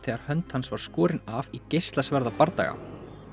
þegar hönd hans var skorin af í